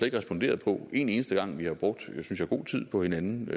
ikke responderet på en eneste gang og vi har brugt synes jeg god tid på hinanden